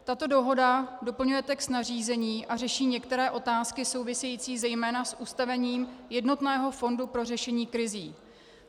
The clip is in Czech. Tato dohoda doplňuje text nařízení a řeší některé otázky související zejména s ustavením jednotného fondu pro řešení krizí.